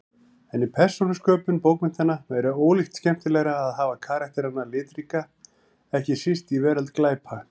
En í persónusköpun bókmenntanna er ólíkt skemmtilegra að hafa karakterana litríka, ekki síst í veröld glæpa.